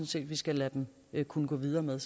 set at vi skal lade dem kunne gå videre med